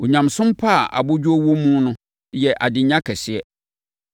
Onyamesom pa a abodwoɔ wɔ muo yɛ adenya kɛseɛ.